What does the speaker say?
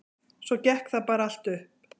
Svo gekk það bara allt upp.